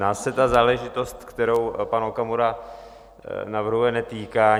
Nás se ta záležitost, kterou pan Okamura navrhuje, netýká.